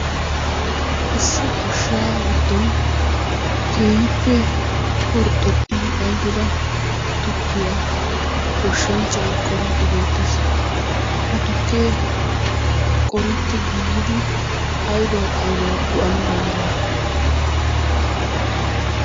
Issi goshshaa giddon keehippe horxxoxxidi ayfida tukkiya goshshanchchayi qoriiddi beettes. Ha tukkee qoretti giigidi aybawu aybawu go"ana danddayii?